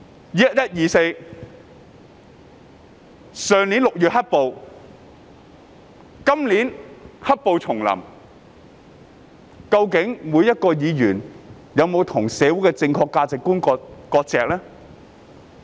"1124" 區議會選舉、去年6月的"黑暴"及今年"黑暴"重臨，究竟議員有否與社會上不正確的價值觀割席？